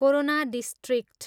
Corona district.